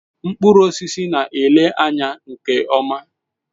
Mkpụrụ osisi na-ele anya nke ọma.